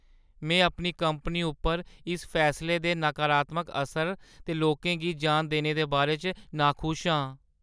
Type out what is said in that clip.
में अपनी कंपनी उप्पर इस फैसले दे नकारात्मक असर ते लोकें गी जान देने दे बारे च नाखुश आं।